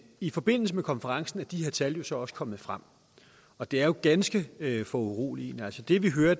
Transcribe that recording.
i forbindelse med konferencen er de her tal jo så også kommet frem og det er jo ganske foruroligende altså det vi hører